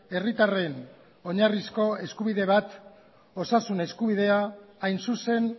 herritarren oinarrizko eskubide bat osasun eskubidea hain zuzen